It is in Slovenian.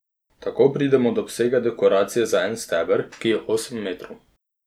Tako pridemo do obsega dekoracije za en steber, ki je osem metrov.